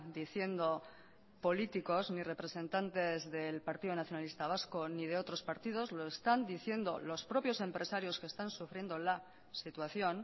diciendo políticos ni representantes del partido nacionalista vasco ni de otros partidos lo están diciendo los propios empresarios que están sufriendo la situación